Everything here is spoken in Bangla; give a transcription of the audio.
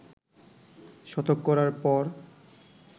শতক করার পর